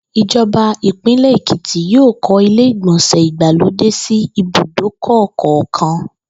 Ìjo̩ba ìpínlè̩ Èkìtì yóò kó̩ ilé ìgbò̩nsè̩ ìgbàlódé sí ibùdókò̩ kò̩ò̩kan